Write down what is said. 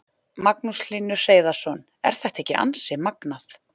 Magnús Hlynur Hreiðarsson: Er þetta ekki ansi magnað?